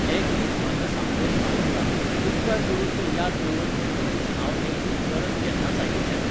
हें गीत म्हाका सामकेंच आवडना उपकार करून तें याद दवर म्हणटकीच हांव हें गीत परत केन्नाच आयकुचें ना